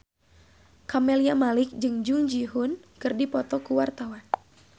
Camelia Malik jeung Jung Ji Hoon keur dipoto ku wartawan